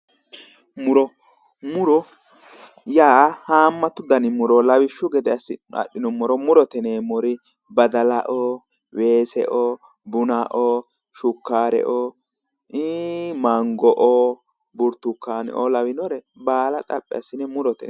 Muro, muro haamatu danni muro no, lawishshu gede assine adhinuummoro murote yinneemmori badallao, weeseo ,bunnao, shukkareo, ii'i Mango, buritukkaneo lawinore baalla xaphi assine murote yinneemmo.